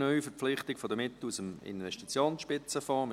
«Neuverpflichtung der Mittel aus dem Investitionsspitzenfonds 2020».